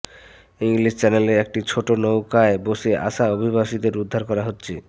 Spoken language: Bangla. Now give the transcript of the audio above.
ইংলিশ চ্যানেলে একটি ছোট নৌকায় করে আসা অভিবাসীদের উদ্ধার করা হচ্ছে